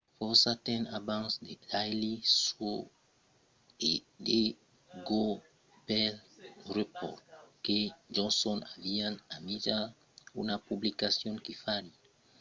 fòrça temps abans the daily show e the colbert report heck e johnson avián imaginat una publicacion que fariá una parodia de las informacions—e lo jornalisme— quand èran estudiants a l'uw en 1988